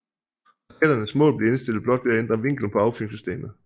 Raketternes mål bliver indstillet blot ved at ændre vinklen på affyringssystemet